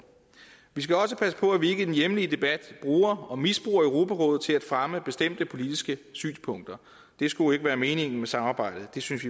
vi skal også passe på at vi ikke i den hjemlige debat bruger og misbruger europarådet til at fremme bestemte politiske synspunkter det skulle ikke være meningen med samarbejdet det synes